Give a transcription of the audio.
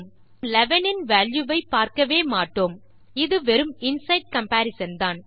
நாம் 11 இன் வால்யூ வை பார்க்கவே மாட்டோம் இது வெறும் இன்சைடு கம்பரிசன் தான்